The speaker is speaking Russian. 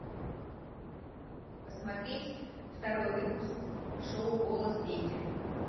посмотреть второй выпуск шоу голос дети